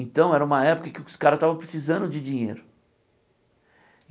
Então, era uma época em que os caras estavam precisando de dinheiro.